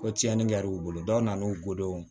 Ko tiɲɛni kɛ l'u bolo dɔw nan'u ggolo